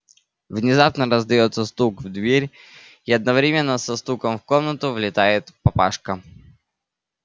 внезапно раздаётся стук в дверь и одновременно со стуком в комнату влетает папашка